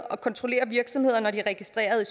og kontrollere virksomheder når de er registreret